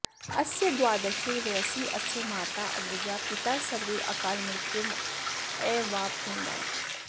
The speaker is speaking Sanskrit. अस्य द्वादशे वयसि अस्य माता अग्रजा पिता सर्वे अकालमृत्युम् अवाप्नुवन्